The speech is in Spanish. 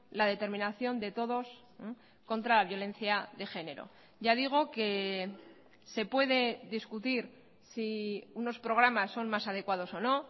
la determinación de todos contra la violencia de género ya digo que se puede discutir si unos programas son más adecuados o no